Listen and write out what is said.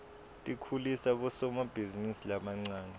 tikhulisa bosomabhizinisi labancane